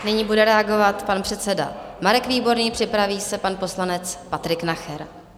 Nyní bude reagovat pan předseda Marek Výborný, připraví se pan poslanec Patrik Nacher.